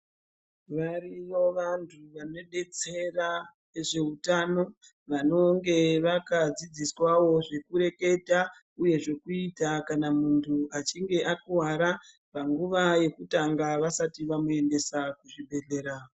Variyo vantu vanodetsera vezveutano vanonge vakadzidziswawo zvekureketa uye zvekuita kana muntu achinge akuwara panguva yekutanga vasati vamuendesa kuzvibhedhlera.